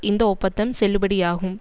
இந்த ஒப்பந்தம் செல்லுபடியாகும்